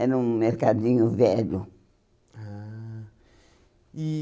Era um mercadinho velho. Ah e